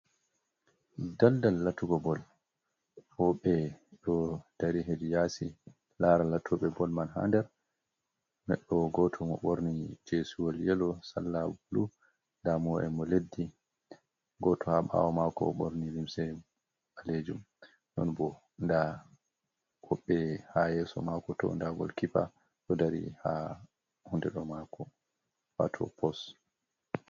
Ɗaldal latugo bol. wobe ɗo ɗari heɗi yasi lara latobe bol man ha ɗer. Ɗeɗɗo goto mo borni jesuwol yelo salla bulu. Ɗamu'e mo leɗɗi, goto ha ɓawo mako o borni limse balejum. Non bo nda woɓbe ha yeso mako to. Nda gol kippa ɗo dari ha hunde ɗo mako wato pos.